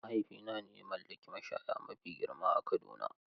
Mahaifina ne ya mallaki mashaya mafi girma a Kaduna.